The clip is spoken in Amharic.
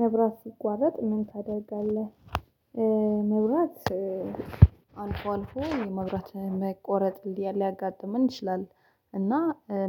መብራት ሲቋረጥ ምን ታደርጋለህ? መብራት አልፎ አልፎ የመብራት መቆረጥ ሊያጋጥምን ይችላል። እና